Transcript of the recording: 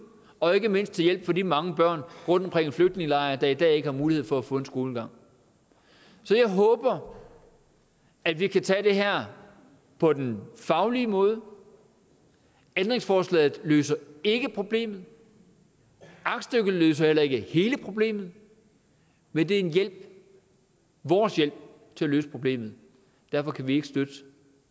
og ikke mindst til hjælp for de mange børn rundtomkring i flygtningelejre der i dag ikke har mulighed for at få en skolegang så jeg håber at vi kan tage det her på den faglige måde ændringsforslaget løser ikke problemet aktstykket løser heller ikke hele problemet men det er en hjælp vores hjælp til at løse problemet derfor kan vi ikke støtte